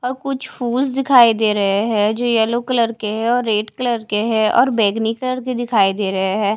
और कुछ फूल्स दिखाई दे रहे हैं जो येलो कलर के हैं और रेड कलर के हैं और बैगनी कलर के दिखाई दे रहे हैं।